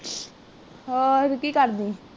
ਹੋਰ ਕਿ ਕਰਦੀ?